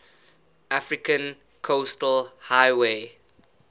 african coastal highway